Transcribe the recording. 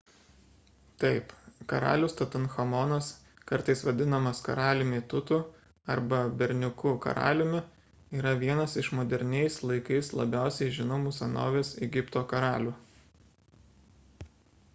taip karalius tutanchamonas kartais vadinamas karaliumi tutu arba berniuku karaliumi yra vienas iš moderniais laikais labiausiai žinomų senovės egipto karalių